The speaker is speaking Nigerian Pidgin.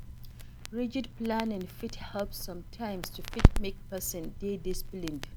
Rigid planning fit help sometimes to fit make person dey disciplined